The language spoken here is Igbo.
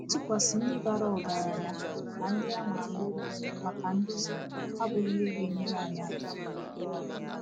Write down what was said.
Ịtụkwasị ndị bara ọgaranya na ndị a ma ama obi maka nduzi abụghị ihe ga-enyere aka.